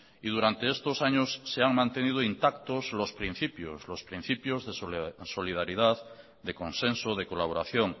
y durante estos años se han mantenido intacto los principios de solidaridad de consenso de colaboración